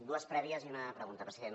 dues prèvies i una pregunta president